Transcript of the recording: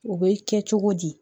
O bɛ kɛ cogo di